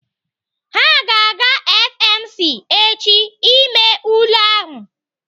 Ha ga-aga FMC echi ime ule ahụ.